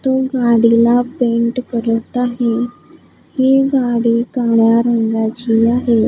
तो गाडीला पेंट करत आहे ही गाडी काळ्या रंगाची आहे.